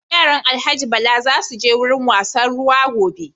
Yaran Alhaji Bala za su je wurin wasan ruwa gobe.